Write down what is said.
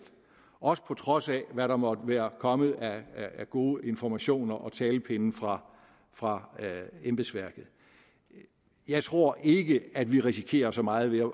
også på trods af hvad der måtte være kommet af gode informationer og talepinde fra fra embedsværket jeg tror ikke at vi risikerer så meget ved at